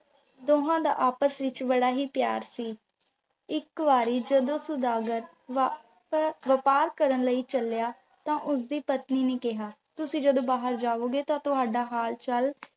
ਦੋਹਾ ਦਾ ਆਪਸ ਵਿੱਚ ਬੜਾ ਹੀ ਪਿਆਰ ਸੀ। ਇੱਕ ਵਾਰੀ ਜਦੋਂ ਸੁਦਾਗਰ ਵਪਾਰ ਕਰਨ ਲਈ ਚੱਲਿਆ, ਤਾਂ ਉਸਦੀ ਪਤਨੀ ਨੇ ਕਿਹਾ, ਤੁਸੀਂ ਜਦੋਂ ਬਾਹਰ ਜਾਵੋਗੇ ਤਾਂ ਤੁਹਾਡਾ ਹਾਲ ਚਾਲ